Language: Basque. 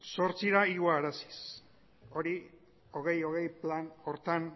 zortzira igoaraziz hori bi mila hogei plan horretan